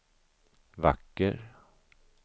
vacker